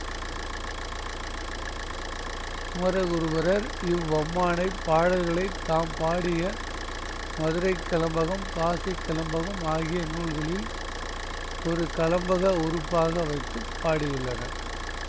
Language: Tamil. குமரகுருபரர் இவ்வம்மானைப் பாடல்களைத் தாம் பாடிய மதுரைக் கலம்பகம் காசிக் கலம்பகம் ஆகிய நூல்களில் ஒரு கலம்பக உறுப்பாக வைத்து பாடியுள்ளனர்